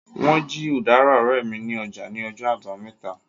Wọ́n jí udara ọ̀rẹ́ mi ní ọjà ní ọjọ́ àbámẹ́ta